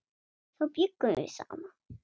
Þá bjuggum við saman.